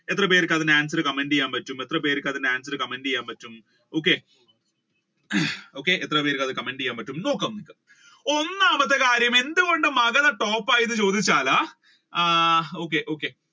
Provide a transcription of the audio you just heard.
എത്ര പേർക്ക് അതിന്റെ answer comment ചെയ്യാൻ പറ്റും എത്ര പേർക്ക് അതിന്റെ answer comment ചെയ്യാൻ പറ്റും okay ഹും ഒന്നാമത്തെ കാര്യം എന്തുകൊണ്ട് മഗധ ആയി എന്ന് ചോദിച്ചാൽ ആഹ് okay